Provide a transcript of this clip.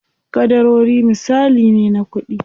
Ƙadarori misali ne na kuɗi.